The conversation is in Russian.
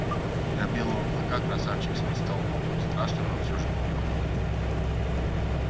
для белого клыка красавчик смит стал богом страшным но всё же богом